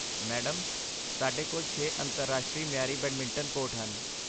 madam, ਸਾਡੇ ਕੋਲ ਛੇ ਅੰਤਰਰਾਸ਼ਟਰੀ ਮਿਆਰੀ ਬੈਡਮਿੰਟਨ ਕੋਰਟ ਹਨ